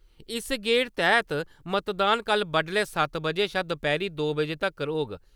इस गेड़ तैह्त मतदान कल बड्डलै सत्त बजे शा दपैह्‌री दो बजे तक्कर होग।